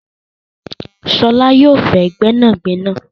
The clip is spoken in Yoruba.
Ṣọlá yóò fé gbẹ́nàgbẹ́nà